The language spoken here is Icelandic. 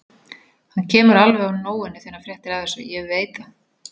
Hann kemur alveg á nóinu þegar hann fréttir af þessu, ég veit það.